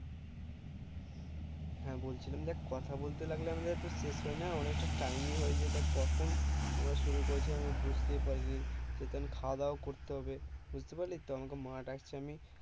হ্যাঁ বলছিলাম যে কথা বলতে লাগলে আমাদের তো শেষ হয় না অনেক তা time ই হয়ে যাই দেখ কখন আমরা শুরু করেছি আমি বুঝতেই পারিনি যেহুতু খাওয়া দাওয়াও করতে হবে বুঝতে পারলি তো আমাকে মা ডাকছে আমি